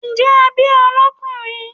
njẹ a bí o lọkunrin?